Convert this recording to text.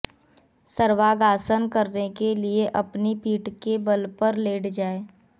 सर्वांगासन करने के लिए अपनी पीठ के बल लेट जाएं